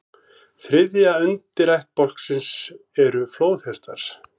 Þriðja ætt undirættbálksins eru flóðhestar.